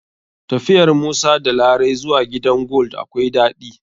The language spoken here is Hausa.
Tafiyar musa da larai zuwa gidan gold akwai daɗi.